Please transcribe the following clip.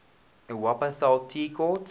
wupperthal tea court